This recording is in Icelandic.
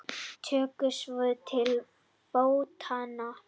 Tóku svo til fótanna.